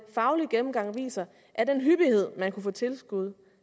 faglige gennemgang viser at den hyppighed man kunne få tilskud